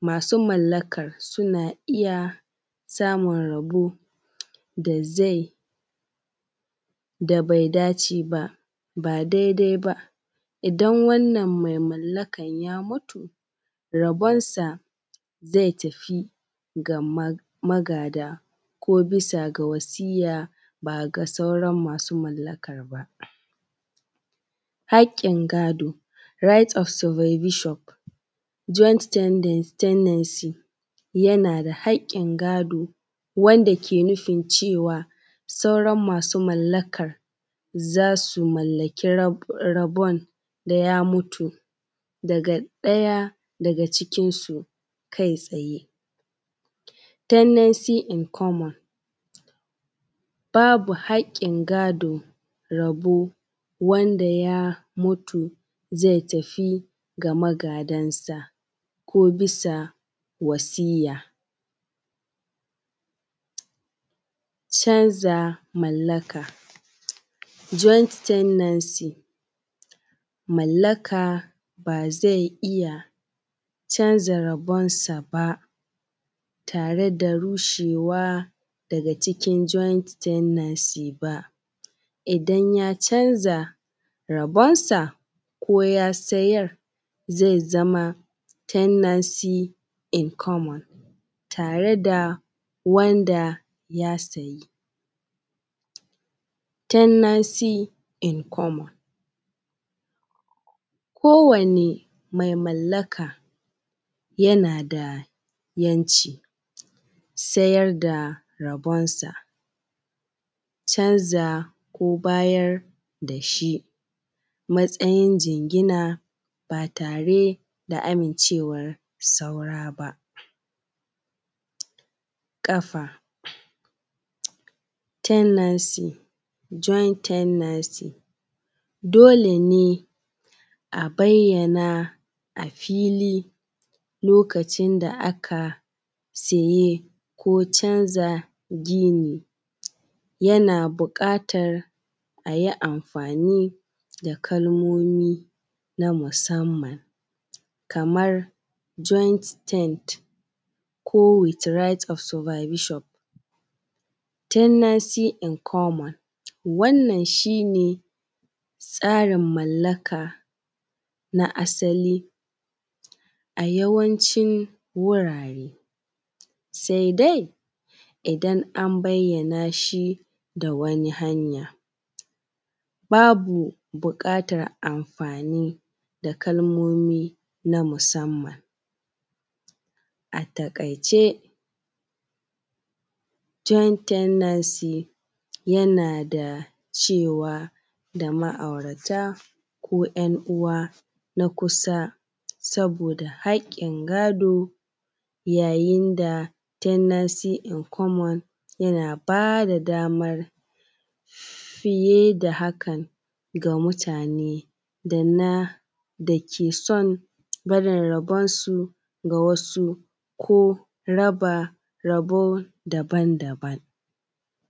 masu mallakar suna iya samun rabo da zai da bai dace baba daidai ba idan wannan mutum mai mallakan ya mutu rabonsa zai tafi ga magada ne ko bisa ga wasiyya ba ga sauarn masu mallakar ba. Haƙƙin gado right of supervision joint tenancy yana da haƙƙin gado wanda ke nufin cewa sauran masu mallakar za su mallaki rabon da ya mutu daga ɗaya daga cikinsu kai tsaye. tenancy in common babu haƙƙin gado rabo wanda ya mutu zai tafi ga magadansa ko bisa wasiyya, canza mallaka joint tenancy mallaka ba zai iya canza rabonsa ba tare da rushewa daga cikin joint tendency ba, idan ya canja rabonsa ko ya sayar zai zama tenancy in common tare da wanda ya siya tenancy in common kowani mai mallaka yana da ‘yanci sayar da rabonsa, canza ko bayar da shi a mtsayin jingina ba tare da amincewan saura ba, kafa tendency joint tenancy dole ne a bayyana a fili lokacin da aka siyi ko canja gini yana bukatar a yi amfani da kalomomi na musamman kamar joint tent ko with right of supervision tenancy in common. Wannan shi ne tsarin mallaka na asali a yawancin wurare sai dai idan an bayyaana shi da wani hanyan babu buƙatar amfani da kalmomi na musamman. A takaice joint tenancy yana da cewa da ma’aurata ko ‘yan uwa na kusa saboda haƙƙin gado yayin da tenancy in common yana ba da damar fiye da hakan ga mutane da ke san barin rabonsu ga wasu ko raba rabon daban-daban.